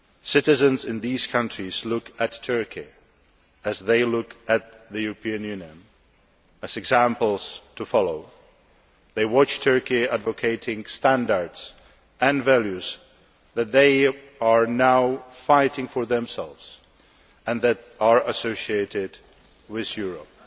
Citizens in these countries look at Turkey, as they look at the European Union, as examples to follow. They watch Turkey advocating standards and values that they are now fighting for themselves and that are associated with Europe.